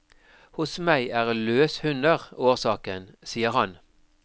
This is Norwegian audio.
Hos meg er løshunder årsaken, sier han.